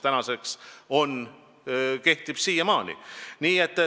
Ja see kehtib siiamaani.